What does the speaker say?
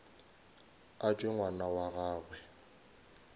a tšwe ngwana wa gagwe